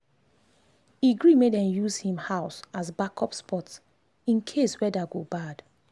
e gree make dem use him house as backup spot in case weather go bad.